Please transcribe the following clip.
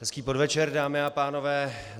Hezký podvečer, dámy a pánové.